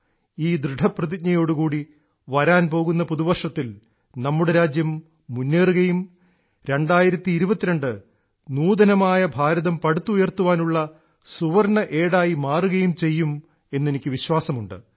ഈ ദൃഢ പ്രതിജ്ഞയോടുകൂടി വരാൻപോകുന്ന പുതുവർഷത്തിൽ നമ്മുടെ രാജ്യം മുന്നേറുകയും 2022 നൂതനമായ ഭാരതം പടുത്തുയർത്തുവാനുള്ള സുവർണ്ണ ഏടായി മാറുകയും ചെയ്യും എന്ന് എനിക്ക് വിശ്വാസം ഉണ്ട്